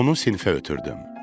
Onu sinifə ötrdüm.